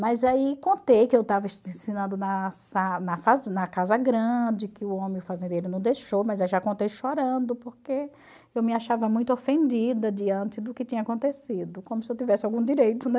Mas aí contei que eu estava ensinando na na casa grande, que o homem fazendeiro não deixou, mas eu já contei chorando, porque eu me achava muito ofendida diante do que tinha acontecido, como se eu tivesse algum direito, né.